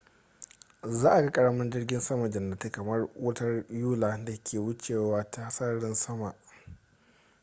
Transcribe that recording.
za a ga ƙaramin jirgin sama-jannatin kamar wutar yula da ke wucewa ta sararin sama